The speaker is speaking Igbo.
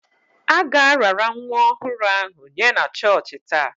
A ga-arara nwa ọhụrụ ahụ nye na chọọchị taa.